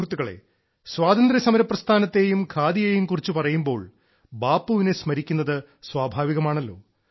സുഹൃത്തുക്കളെ സ്വാതന്ത്ര്യസമര പ്രസ്ഥാനത്തെയും ഖാദിയും കുറിച്ച് പറയുമ്പോൾ ബാപ്പുവിനെ സ്മരിക്കുന്നത് സ്വാഭാവികമാണല്ലോ